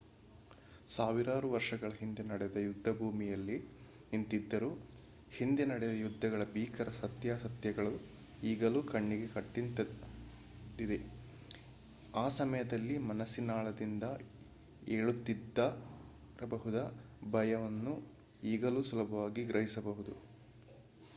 ಸಾವಿರಾರು ವರ್ಷಗಳ ಹಿಂದೆ ನಡೆದ ಯುದ್ಧಭೂಮಿಯಲ್ಲಿ ನಿಂತಿದ್ದರೂ ಹಿಂದೆ ನಡೆದ ಯುದ್ಧಗಳ ಭೀಕರ ಸತ್ಯಾಸತ್ಯತೆಗಳು ಈಗಲೂ ಕಣ್ಣಿಗೆ ಕಟ್ಟಿದಂತಿದೆ ಆ ಸಮಯದಲ್ಲಿ ಮನಸ್ಸಿನಾಳದಿಂದ ಏಳುತ್ತಿದ್ದಿರಬಹುದಾದ ಭಯವನ್ನು ಈಗಲೂ ಸುಲಭವಾಗಿ ಗ್ರಹಿಸಬಹುದಾಗಿದೆ